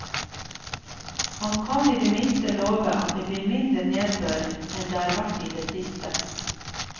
Han kan i det minste love at det blir mindre nedbør enn det har vært i det siste.